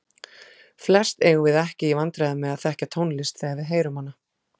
Flest eigum við ekki í vandræðum með að þekkja tónlist þegar við heyrum hana.